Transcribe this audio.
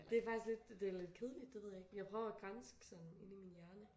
Det faktisk lidt det lidt kedeligt det ved jeg ikke jeg prøver at granske sådan inde i min hjerne